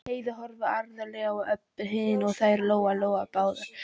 Heiða horfði alvarlega á Öbbu hina og þær Lóa Lóa báðar.